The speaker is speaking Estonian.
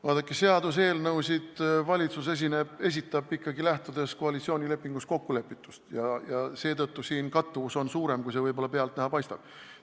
Vaadake, seaduseelnõusid esitab valitsus ikkagi koalitsioonilepingus kokkulepitust lähtudes ja seetõttu on siin kattuvus suurem, kui see võib-olla pealtnäha paistab.